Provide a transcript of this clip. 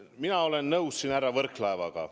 Mina olen nõus härra Võrklaevaga.